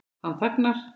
Hann þagnar.